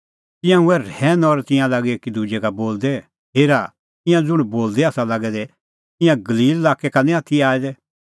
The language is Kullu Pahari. तिंयां हुऐ रहैन और तिंयां लागै एकीदुजै का बोलदै हेरा ईंयां ज़ुंण बोलदै आसा लागै दै ईंयां गलील लाक्कै का निं आथी आऐ दै